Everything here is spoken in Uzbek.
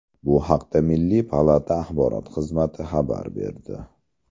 Bu haqda milliy palata axborot xizmati xabar berdi .